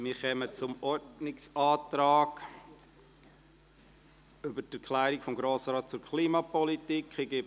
Wir kommen zum Ordnungsantrag betreffend die «Erklärung des Grossen Rates zur Klimapolitik».